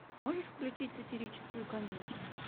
можешь включить сатирическую комедию